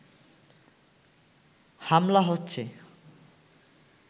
হামলা হচ্ছে